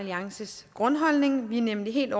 alliances grundholdning vi er nemlig helt